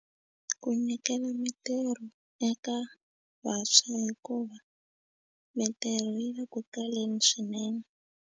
Ku nyikela mitirho eka vantshwa hikuva mintirho yi le ku kaleni swinene.